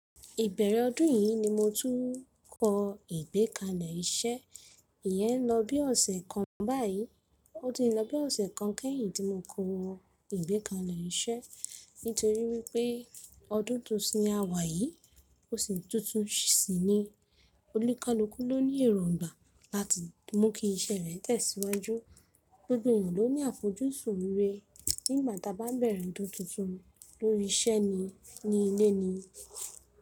Ìbẹ̀rẹ̀ ọdún yìí ni mo tún kọ ìgbẹ́kalẹ̀ iṣẹ́. Ìyẹn n lọ bí ọ̀sẹ̀ kan báyìí. Ó ti ń lọ bí ọ̀sẹ̀ kan kẹ́yìn tí mo kọ ìgbẹ́kalẹ̀ iṣẹ́. Nítorí wípé ọdún tuntun l'a wà yìí, osu tuntun síi ni. Olúkalúkú ló ní èròǹgbà láti mú kí iṣẹ́ rẹ̀ tẹ̀síwájú. Gbogbo ènìyàn ló ní àfojúsùn rere nígbà tí a bá bẹ̀rẹ̀ ọdún tuntun lórí iṣẹ́ ni, ní ilé ni.